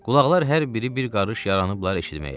Qulaqlar hər biri bir qarış yaranıblar eşitməyə.